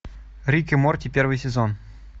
рик и морти первый сезон